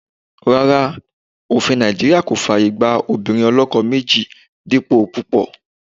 Rárá, òfin Nàìjíríà kò fàyè gba obìnrin oloko méjì dípò púpò.